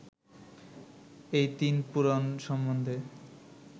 এই তিন পুরাণ সম্বন্ধে